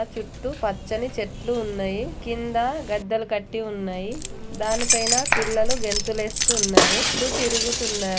చుట్టూ పచ్చని చెట్లు ఉన్నయి. కింద గద్దెలు కట్టి ఉన్నాయి. ఆ దాని పైన పిల్లలు గెంతులేస్తు ఉన్నరూ. చుట్టూ తిరుగుతున్నా